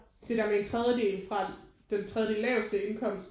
Det der med en tredjedel fra den tredje laveste indkomst